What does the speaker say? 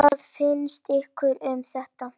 Hvað finnst ykkur um þetta?